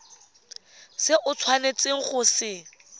se o tshwanetseng go se